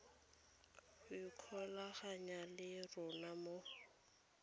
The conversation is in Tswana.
go ikgolaganya le rona mo